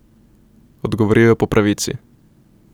Odgovoril je po pravici.